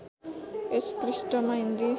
यस पृष्ठमा हिन्दी